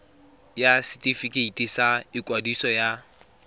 ya setefikeiti sa ikwadiso ya